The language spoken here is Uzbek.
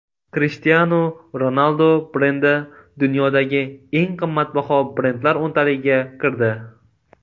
Krishtianu Ronaldu brendi dunyodagi eng qimmatbaho brendlar o‘ntaligiga kirdi.